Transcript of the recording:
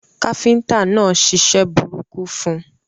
Káfíntà náà ṣiṣẹ́ burúkú fun